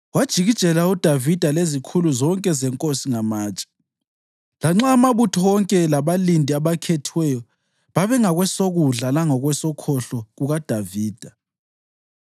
Wajikijela uDavida lezikhulu zonke zenkosi ngamatshe, lanxa amabutho wonke labalindi abakhethiweyo babengakwesokudla lakwesokhohlo kukaDavida.